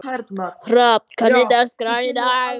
Hrafn, hvernig er dagskráin í dag?